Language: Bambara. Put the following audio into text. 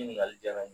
Ɲininkali diyara n ye